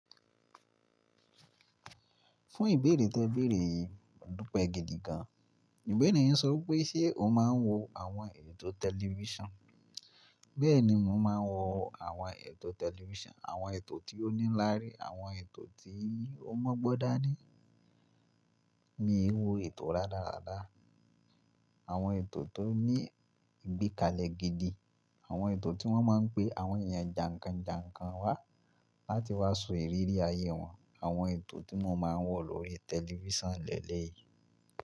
Fún ìbéèrè tẹ béèrè yẹn adúpẹ́ gidi gan. Ìgbẹ́niyàn sọ pé ṣe o máa ń wo àwọn ètò tẹlifísàn? Bẹ́ẹ̀ni mo máa ń wo àwọn ètò tẹlifísàn, àwọn ètò tí ó ní lári, àwọn ètò tí ó mọ̀ gbọ́ da ní. Mi i wo ètò rádaràda. Àwọn ètò tó ní ìgbíkalẹ̀ gidi, àwọn ètò tí wọ́n máa ń pe àwọn èèyàn jànkànjànkàn wá láti wá sọ ìrírí ayé wọn, àwọn ètò tí mo máa ń wò lórí tẹlifísàn lẹ́lẹ̀ yìí.